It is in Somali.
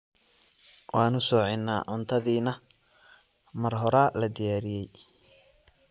waanu socinaa cuntadii nah mar horaa la diyaariyey